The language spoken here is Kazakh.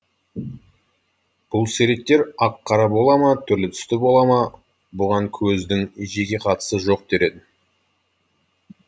бұл суреттер ақ қара бола ма түрлі түсті бола ма бұған көздің жеке қатысы жоқ дер едім